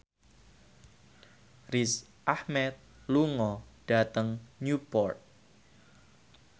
Riz Ahmed lunga dhateng Newport